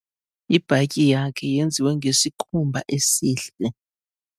Ibhatyi yakhe yenziwe ngesikhumba esihle.